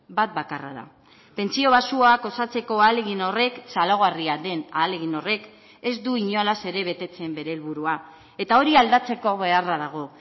bat bakarra da pentsio baxuak osatzeko ahalegin horrek txalogarria den ahalegin horrek ez du inolaz ere betetzen bere helburua eta hori aldatzeko beharra dago